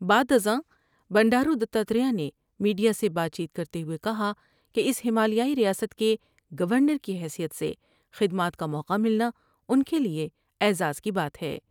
بعدازاں بنڈارودتاتر میر نے میڈیا سے بات چیت کرتے ہوۓ کہا کہ اس ہمالیائی ریاست کے گورنر کی حیثیت سے خدمات کا موقع ملنا ان کیلئے اعزاز کی بات ہے ۔